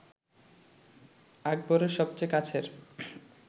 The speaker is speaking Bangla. আকবরের সবচেয়ে কাছের